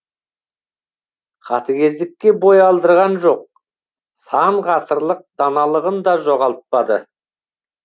қатыгездікке бой алдырған жоқ сан ғасырлық даналығын да жоғалтпады